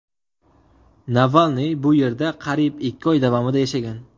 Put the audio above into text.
Navalniy bu yerda qariyb ikki oy davomida yashagan.